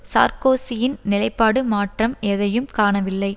சார்க்கோசியின் நிலைப்பாடு மாற்றம் எதையும் காணவில்லை